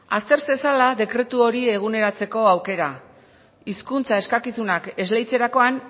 azter zezala dekretu hori eguneratzeko aukera hizkuntza eskakizunak esleitzerakoan